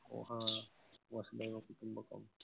हा वसुधेव कुटुंबकम.